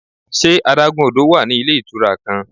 Ṣe adagun odo wa ni ile itura kan?